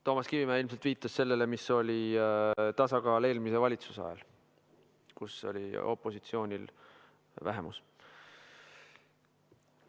Toomas Kivimägi ilmselt viitas sellele, mis oli tasakaal eelmise valitsuse ajal, kui opositsioonil oli vähemus.